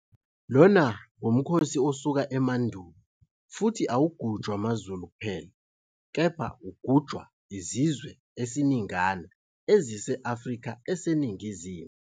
Lona ngumkhosi osuka emandulo, futhi awugujwa amazulu kuphela kepha ugujwa izizwe esiningana ezise-Afrika eseNingizimu.